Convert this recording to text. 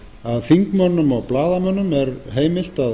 að þingmönnum og blaðamönnum er heimilt að